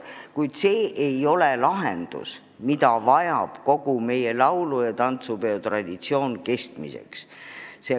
Kuid see ei ole lahendus, millest piisab kogu meie laulu- ja tantsupeo traditsiooni kestmiseks.